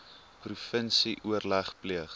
provinsie oorleg pleeg